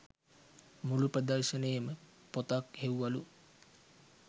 මුළු ප්‍රදර්ශනේම පොතක් හෙව්වලු